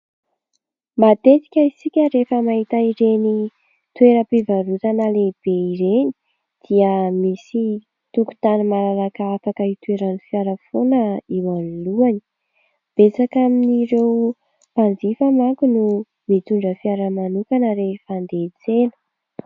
Matetika isika rehefa mahita ireny toeram-pivarotana lehibe ireny dia misy tokontany malalaka afaka hitoeran'ny fiara foana eo anolohany. Betsaka amin'ireo mpanjifa manko no mitondra fiara manokana rehefa handeha hian-tsena.